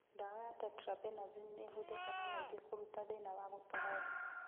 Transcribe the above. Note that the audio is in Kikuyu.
Ndawa ya Tetrabenazine nĩihũthĩkaga maingĩ kũrigita thĩna wa gũtũgũga